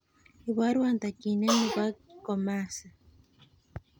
Iborwon tokyinetabge nebo komasi